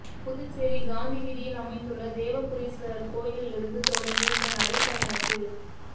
புதுச்சேரி காந்தி வீதியில் அமைந்துள்ள வேதபுரீஸ்வரா் கோயிலிலிருந்து தொடங்கிய இந்த நடைபயணத்தில்